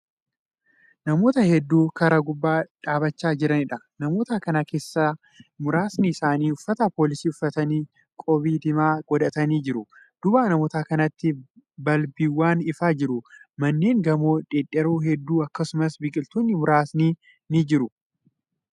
Namoota hedduu karaa gubbaa dhaabachaa jiraniidha. namota Kan keessa muraasni isaanii uffata poolisii uffatanii, qoobii diimaa godhatanii jiru. duuba namoota kanaatti balbiiwwan ifaa jiru manneen gamoo dhedheeroon hedduun akkasumas biqiltoonni muraasni ni jiru.